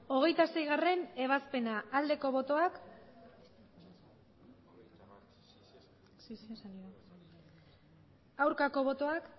hogeita seigarrena ebazpena aldeko botoak aurkako botoak